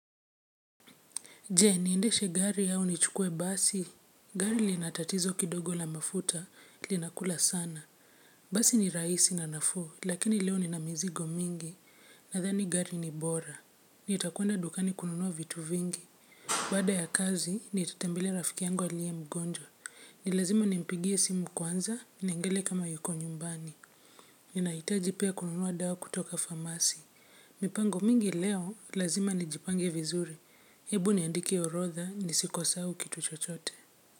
Je, niendeshe gari au nichukue basi. Gari lina tatizo kidogo la mafuta, linakula sana. Basi ni rahisi na nafuu, lakini leo nina mizigo mingi. Nadhani gari ni bora. Nitakwenda dukani kununua vitu vingi. Baada ya kazi, nitatembelea rafiki yangu aliye mgonjwa. Ni lazima nimpigie simu kwanza, niangalie kama yuko nyumbani. Ninahitaji pia kununua dawa kutoka pharmacy. Mipango mingi leo, lazima nijipange vizuri. Hebu niandike orodha nisisahau u kitu chochote.